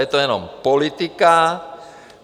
Je to jenom politika.